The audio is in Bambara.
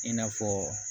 I n'a fɔ